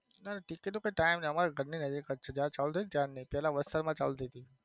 ના ticket ticket time નઈ પેલા વસ્ત્રાલ માં ચાલુ થઇ તી